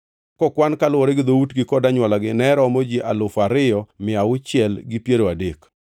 kokwan kaluwore gi dhoutgi kod anywolagi, ne romo ji alufu ariyo mia auchiel gi piero adek (2,630).